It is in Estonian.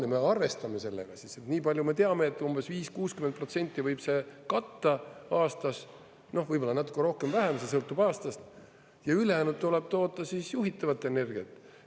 Ja me arvestame sellega siis, nii palju me teame, et umbes 50–60% võib see katta aastas, noh, võib-olla natuke rohkem, vähem, see sõltub aastast, ja ülejäänud tuleb toota siis juhitavat energiat.